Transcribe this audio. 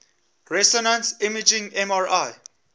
resonance imaging mri